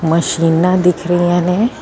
ਮਸ਼ੀਨਾਂ ਦਿਖ ਰਹੀਆਂ ਨੇ।